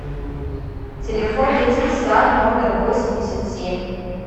телефон детский сад номер восемьдесят семь